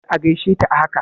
Kar a gaishe ta a haka!